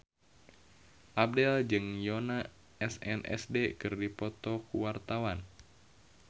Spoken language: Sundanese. Abdel jeung Yoona SNSD keur dipoto ku wartawan